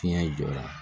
Fiɲɛ jɔra